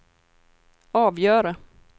avgöra